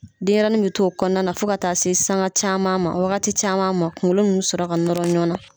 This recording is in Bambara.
Denyɛrɛnin be t'o kɔɔna na fo ka taa se sanga caaman ma, ɔ wagati caman ma kuŋolo ninnu bɛ sɔrɔ ka nɔrɔ ɲɔgɔn na.